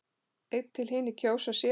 einn til hinir kjósa sér.